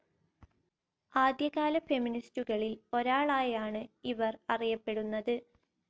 ആദ്യകാല ഫെമിനിസ്റ്റുകളിൽ ഒരാളായാണ് ഇവർ അറിയപ്പെടുന്നത്..